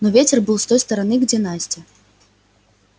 но ветер был с той стороны где настя